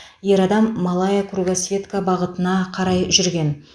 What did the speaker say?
ер адам малая кругосветка бағытына қарай жүрген